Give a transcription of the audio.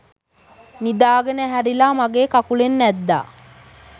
නිදාගෙන ඇහැරිලා මගේ කකුලෙන් ඇද්දා.